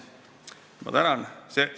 Ma tänan!